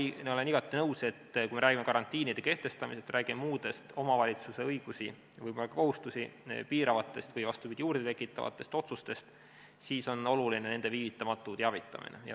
Küll aga olen igati nõus, et kui me räägime karantiini kehtestamisest, räägime muudest omavalitsuste õigusi ja võib-olla ka kohustusi piiravatest või, vastupidi, juurde tekitavatest otsustest, siis on oluline nende viivitamatu teavitamine.